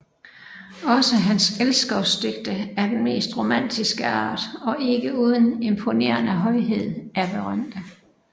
Også hans elskovsdigte af den mest romantiske art og ikke uden imponerende højhed er berømte